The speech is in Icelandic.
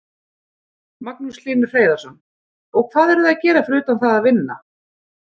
Magnús Hlynur Hreiðarsson: Og hvað eruð þið að gera fyrir utan það að vinna?